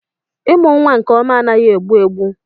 Amụ nwa nke ọma anaghị egbu egbu.